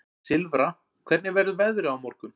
Silfra, hvernig verður veðrið á morgun?